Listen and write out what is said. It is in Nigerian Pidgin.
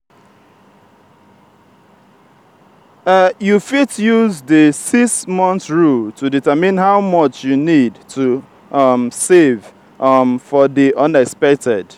you fit use di 6-month rule to determine how much you need to um save um for di unexpected.